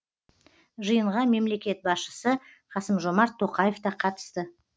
жиынға мемлекет басшысы қасым жомарт тоқаев та қатысты